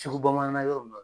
Sugu bamanan yɔrɔ nun na.